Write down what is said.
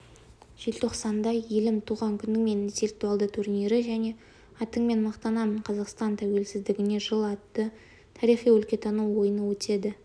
желтоқсанда елім туған күніңмен интеллектуалды турнирі және атыңмен мақтанамын қазақстан тәуелсіздігіне жыл атты тарихи-өлкетану ойыны өтеді